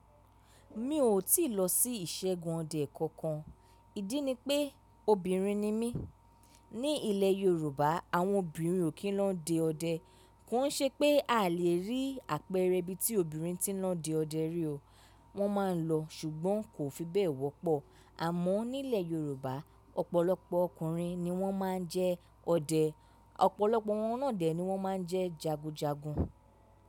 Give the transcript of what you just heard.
Mi ò tíì lọ sí ìṣẹ́gun ọdẹ kankan, ìdí ni pé obìnrin ni mí. Ni ilẹ̀ Yorùbá, àwọn obìnrin ò kí ń lọ dẹ ọdẹ. Kò ń ṣe pé a lè rí àpẹẹrẹ ibi tí obìnrin ti ń lọ dẹ ọdẹ rí o. Wọ́n máa ń lọ, ṣùgbọ́n kò fi bẹ́ẹ̀ wọ́pọ̀. Àmọ́ nílẹ̀ Yorùbá, ọ̀pọ̀lọpọ̀ ọkùnrin ni wọ́n máa ń jẹ ọdẹ, ọ̀pọ̀lọpọ̀ wọn náà dè tí wọ́n máa ń jẹ jagunjagun.